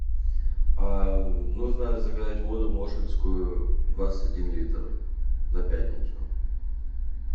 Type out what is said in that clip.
нужно заказать воду моршинскую двадцать один литр на пятницу